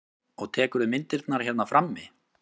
Og tekurðu myndirnar hérna frammi?